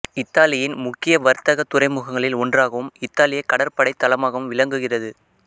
இத்தாலியின் முக்கிய வர்த்தக துறைமுகங்களில் ஒன்றாகவும் இத்தாலியக் கடற்படைத் தளமாகவும் விளங்குகிறது